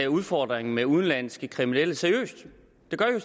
udfordringen med udenlandske kriminelle seriøst